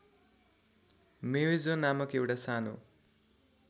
म्वेजो नामक एउटा सानो